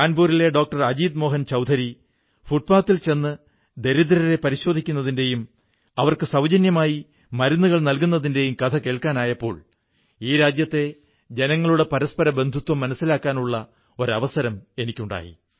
കാൺപൂരിലെ ഡോക്ടർ അജീത് മോഹൻ ചൌധരി ഫുട്പാത്തിൽ ചെന്ന് ദരിദ്രരെ പരിശോധിക്കുന്നതിന്റെയും അവർക്ക് സൌജന്യമായി മരുന്നുകൾ നല്കുന്നതിന്റെയും കഥ കേൾക്കാനായപ്പോൾ ഈ രാജ്യത്തെ ജനങ്ങളുടെ പരസ്പരബന്ധുത്വം മനസ്സിലാക്കാനുള്ള അവസരമുണ്ടായി